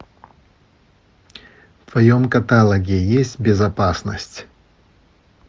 в твоем каталоге есть безопасность